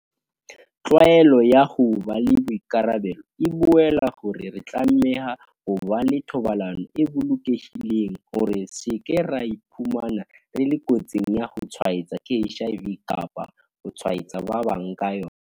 Tlwaelo ya ho ba le boikarabelo e boela hore re tlameha ho ba le thobalano e bolokehileng hore re se ke ra iphumana re le kotsing ya ho tshwaetswa ke HIV kapa ho tshwaetsa ba bang ka yona.